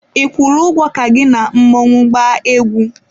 Ị kwụrụ ego ka gị na mmọnwụ gbaa egwu?